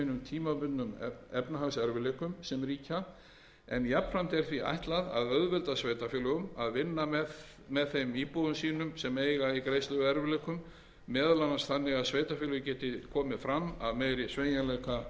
hinum tímabundnu efnahagserfiðleikum sem ríkja en jafnframt er því ætlað að auðvelda sveitarfélögum að vinna með þeim íbúum sínum sem eiga í greiðsluerfiðleikum meðal annars þannig að sveitarfélög geti komið fram af meiri sveigjanleika við innheimtu frumvarpið felur